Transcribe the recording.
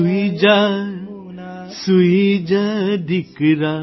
સૂઇ જા સૂઇ જા દિકરા